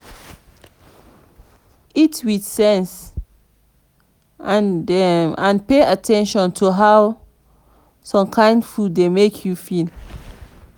eat with sense and and pay at ten tion to how some kind food dey make you feel